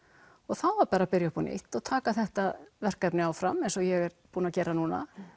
og þá var bara að byrja upp á nýtt og taka þetta verkefni áfram eins og ég er búin að gera núna